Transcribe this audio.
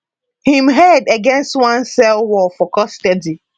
im head against one cell wall for custody